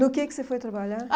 No que é que você foi trabalhar?